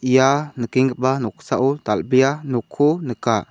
ia nikenggipa noksao dal·bea nokko nika.